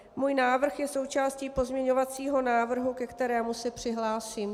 Můj návrh je součástí pozměňovacího návrhu, ke kterému se přihlásím.